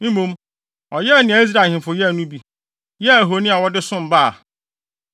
Mmom, ɔyɛɛ nea Israel ahemfo yɛe no bi, yɛɛ ahoni a wɔde som Baal.